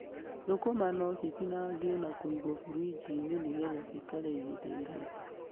Thũkũma no citinangio na kũigwo burinji-inĩ nĩgetha cikare ihinda iraihu.